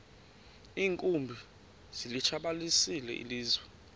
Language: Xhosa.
iinkumbi zilitshabalalisile ilizwe